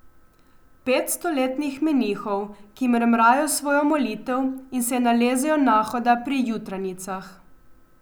Pet stoletnih menihov, ki mrmrajo svojo molitev in se nalezejo nahoda pri jutranjicah.